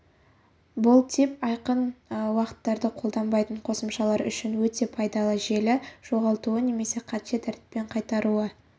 бұл тип айқын уақыттарды қолданбайтын қосымшалар үшін өте пайдалы желі жоғалтуы немесе қате тәртіппен қайтаруы